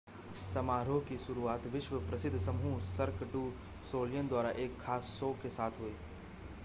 समारोह की शुरुआत विश्व प्रसिद्ध समूह सर्क डू सोलियल द्वारा एक ख़ास शो के साथ हुई